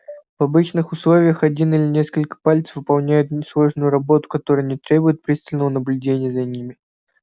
в обычных условиях один или несколько пальцев выполняют несложную работу которая не требует пристального наблюдения за ними